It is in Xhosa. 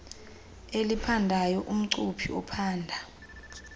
eliphandayo umcuphi ophanda